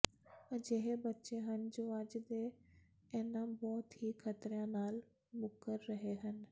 ਅਜਿਹੇ ਬੱਚੇ ਹਨ ਜੋ ਅੱਜ ਦੇ ਇਨ੍ਹਾਂ ਬਹੁਤ ਹੀ ਖਤਰਿਆਂ ਨਾਲ ਮੁੱਕਰ ਰਹੇ ਹਨ